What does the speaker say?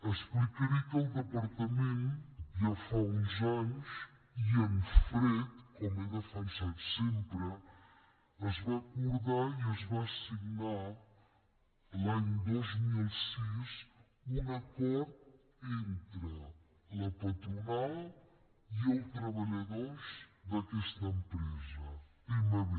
explicaré que al departament ja fa uns anys i en fred com he defensat sempre es va acordar i es va signar l’any dos mil sis un acord entre la patronal i els treballadors d’aquesta empresa tmb